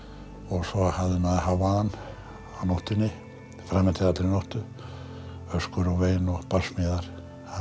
svo hafði maður hávaðann á nóttunni fram eftir allri nóttu öskur og vein og barsmíðar